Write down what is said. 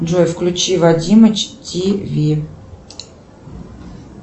джой включи вадимыч тв